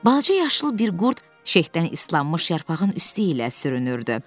Balaca yaşlı bir qurd şehtdən islanmış yarpağın üstü ilə sürünürdü.